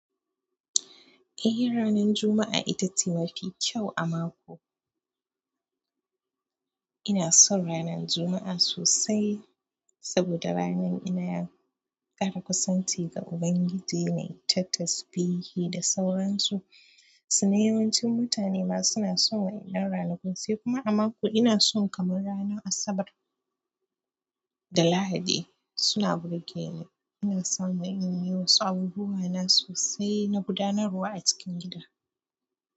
Eh ranar Juma'a ita ce mafi kyau a mako. Ina son ranar Juma'a sosai saboda ranar ina ƙara kusanci ga Ubangiji, na yi ta tasbihi da sauran su. To yawan cin mutane ma suna son wannan rana kun sai kuma a mako ina son kamar ranar asabar da lahadi suna burge ni ina samu inyi wasu abubuwa na sosai na guda narwa a cikin gida.